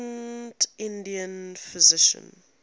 ancient indian physicians